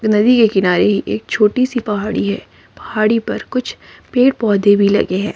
नदी के किनारे एक छोटी सी पहाड़ी है पहाड़ी पर कुछ पेड़ पौधे भी लगे हैं।